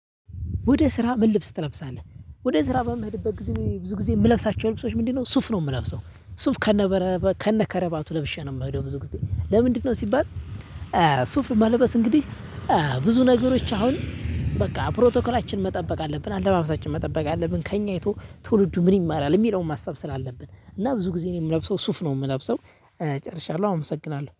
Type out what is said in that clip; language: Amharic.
ወደ ስራ ምን ልብስ ትለብሳለህ ወደ ስራ በምሄድበት ጊዜ ብዙ ጊዜ የምለብሳቸው ልብሶች ምንድነው ሱፍ ነው የምለብሰው ሱፍ ከነከረባቱ ለብሼ ነው የምሄደው ብዙ ጊዜ ለምንድነው ሲባል ሱፍ መለበስ እንግዲህ ብዙ ነገሮች አሁን በቃ ፕሮቶክላችን መጠበቅ አለብን፣ አለባበሳችን መጠበቅ አለብን፣ ከእኛ አይቶ ትውልዱ ምን ይማራል የሚለውን ማሰብ ስላለብን። እና ብዙ ጊዜ ነው የምለብሰው ሱፍ ነው የምለብሰው እጨርሻለሁ። አመሰግናለሁ።